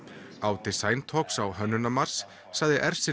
á Design talks á Hönnunarmars sagði